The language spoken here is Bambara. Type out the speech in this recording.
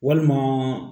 Walima